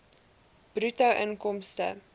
bruto inkomste